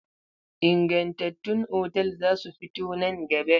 Ingantattun otal za su fito nan gaba.